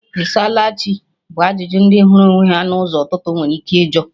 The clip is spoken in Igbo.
"Ị saala Chi?" bụ ajụjụ ndị hụrụ onwe ha na ụzọ ụtụtụ nwere ike ịjụ